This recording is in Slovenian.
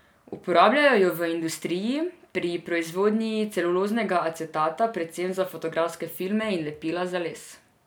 Uporabljajo jo v industriji pri proizvodnji celuloznega acetata, predvsem za fotografske filme in lepila za les.